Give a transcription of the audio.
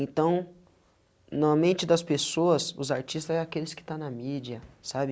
Então, normalmente, das pessoas, os artistas é aqueles que estão na mídia, sabe?